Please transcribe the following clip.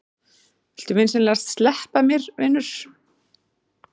Viltu vinsamlegast sleppa mér, vinur!